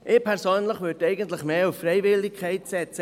Ich persönlich würde eigentlich mehr auf Freiwilligkeit setzen.